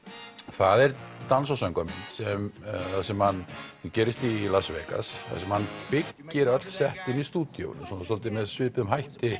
það er dans og söngvamynd sem sem gerist í Las Vegas þar sem hann byggir öll í stúdíói svolítið með svipuðum hætti